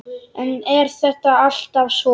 En er það alltaf svo?